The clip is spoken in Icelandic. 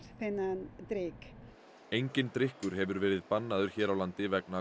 þennan drykk enginn drykkur hefur verið bannaður hér á landi vegna